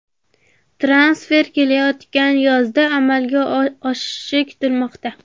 Transfer kelayotgan yozda amalga oshishi kutilmoqda.